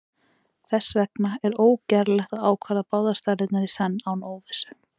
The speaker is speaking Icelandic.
þess vegna er ógerlegt að ákvarða báðar stærðirnar í senn án óvissu